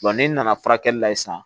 n'i nana furakɛli la yen sisan